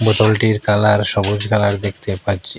বোতলটির colour সবুজ colour দেখতে পাচ্চি।